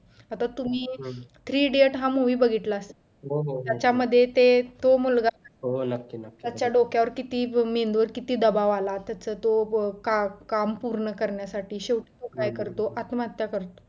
आता तुम्ही three idiots हा movie बघितला असेल त्याच्यामध्ये ते तो मुलगा त्याच्या डोक्यावर किती मेंदूवर किती दबाव आला त्याच्या तो व काम पूर्ण करण्यासाठी शेवटी तो काय करतो आत्महत्या करतो